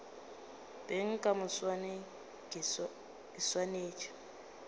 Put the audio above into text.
beng ka moswane ke swanetše